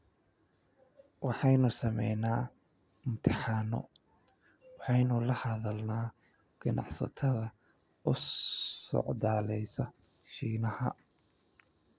Waxaanu samaynaa imtixaano waxaanu la hadalnaa ganacsatada u socdaalaysa Shiinaha.